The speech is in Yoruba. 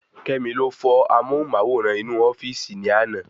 Kemi ló fọ́ amóhùnmáwòrán inú ofíìsì ni àná